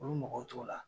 Olu mɔgɔw t'o la